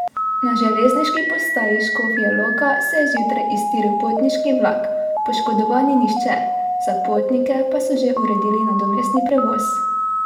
Na železniški postaji Škofja Loka se je zjutraj iztiril potniški vlak, poškodovan ni nihče, za potnike pa so že uredili nadomestni prevoz.